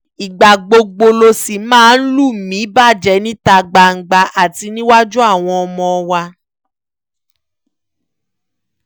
ìgbà gbogbo ló sì máa ń lù mí bàjẹ́ níta gbangba àti níwájú àwọn ọmọ wa